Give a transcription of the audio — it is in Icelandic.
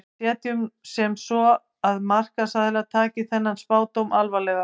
Setjum nú sem svo að markaðsaðilar taki þennan spádóm alvarlega.